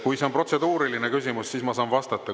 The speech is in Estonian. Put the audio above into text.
Kui see on protseduuriline küsimus, siis ma saan vastata.